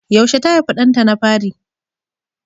Yaushe ta haifi ɗanta na fari?